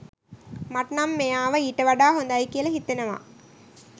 මට නම් මෙයාව ඊට වඩා හොඳයි කියල හිතෙනවා